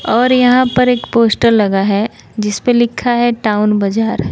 और यहां पर एक पोस्टर लगा है जिस पे लिखा है टाऊन बाजार।